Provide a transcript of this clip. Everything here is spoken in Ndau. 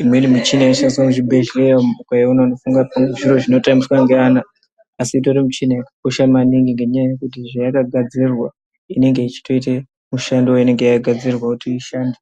imweni michina inoshandiswa muzvibhedhleya umu, ukaiona unofunge kuti zviro zvinotambiswa ngevana, asi itori michina ino yakakosha maningi ngenyaya yekuti zvayakagadzirirwa, inenge ichitoite, mishando yainenge yakagadzirirwa kuti ishande.